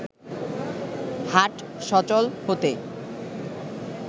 হাট সচল হতে